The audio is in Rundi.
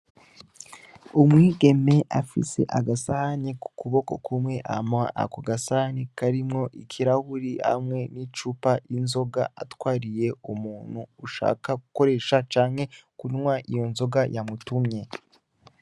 Umwigeme afise agasahani kukuboko kumwe hama ako gasahani karimwo ikirahuri hamwe n'icupa ry'inzoga atwariye umuntu ushaka gukoresha canke kunwa iyo nzoga yamutumye.